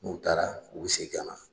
N'u taara u bi segi ka na.